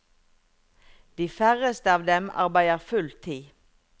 De færreste av dem arbeider full tid.